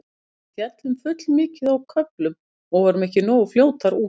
Við féllum full mikið á köflum og vorum ekki nógu fljótar út.